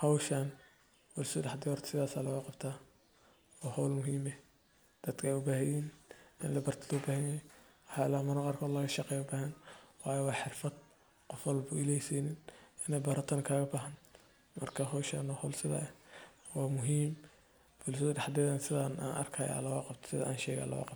hawshan bulshada dhexdeeda sidaas ayaa looga qabtaa. Waa hawl muhiim ah oo dadka u baahan yihiin in la barto. Loobaahanyahay waxyaalaha mararka qaar laga shaqeeyo, u baahan waayo waa xirfad qof walba Ilaahay ma siin, in la baratana looga baahan. Marka hawshan waa hawl sidaas ah oo muhiim ah, bulshada dhexdeedana sidan ayaa looga qabtaa.